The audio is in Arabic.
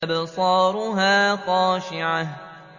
أَبْصَارُهَا خَاشِعَةٌ